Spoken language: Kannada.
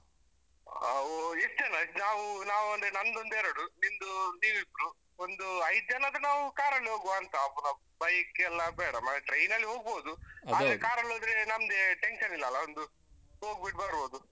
ಅಹ್ ನಾವು ಎಷ್ಟು ಜನ? ನಾವು ನಾವ್ ಅಂದ್ರೆ ನಂದೊಂದೆರಡು ನಿಂದು ನೀವಿಬ್ರು. ಒಂದು ಐದು ಜನಾದ್ರೆ ನಾವು ಕಾರಲ್ಲಿ ಹೋಗ್ವಾ ಅಂತ, ಪುನಃ bike ಎಲ್ಲ ಬೇಡ ಅಹ್ train ಅಲ್ಲಿ ಹೋಗ್ಬೋದು ಆದ್ರೆ ಕಾರಲ್ಲಿ ಹೋದ್ರೆ ನಮ್ದೇ tension ಇಲ್ಲಲ್ಲಾ? ಒಂದು ಹೋಗ್ಬಿಟ್ಟು ಬರ್ಬೋದು, ನಮ್ಮದ್ರಲ್ಲಿ ಯಾರಾದರೂ ಒಬ್ರು,